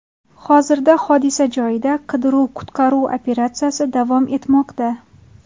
Hozirda hodisa joyida qidiruv-qutqaruv operatsiyasi davom etmoqda.